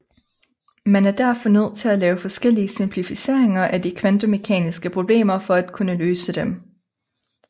Man er derfor nødt til at lave forskellige simplificeringer af de kvantemekaniske problemer for at kunne løse dem